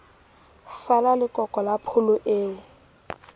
fala lekoko la pholo eo